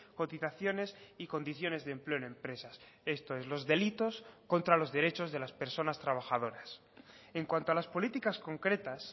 cotizaciones y condiciones de empleo en empresas esto es los delitos contra los derechos de las personas trabajadoras en cuanto a las políticas concretas